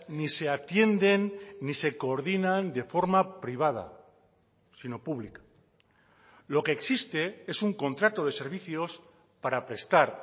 ni se atienden ni se coordinan de forma privada sino pública lo que existe es un contrato de servicios para prestar